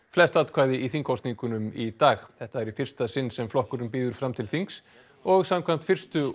flest atkvæði í þingkosningum í dag þetta er í fyrsta sinn sem flokkurinn býður fram til þings og samkvæmt fyrstu